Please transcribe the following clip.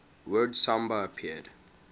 word samba appeared